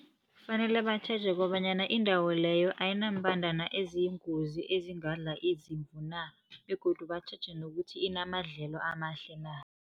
Fanele batjheje kobanyana indawo leyo ayinaambandana eziyingozi, ezingadla izimvu na., begodu batjheje nokuthi inamadlelo amahle na.